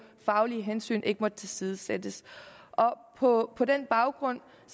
at faglige hensyn ikke måtte tilsidesættes på på den baggrund